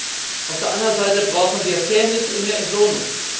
Aber auf der anderen Seite brauchen wir Fairness in der Entlohnung.